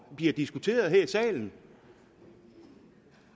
bliver diskuteret her i salen